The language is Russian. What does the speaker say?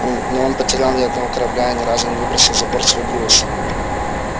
он не потерял ни одного корабля и ни разу не выбросил за борт свой груз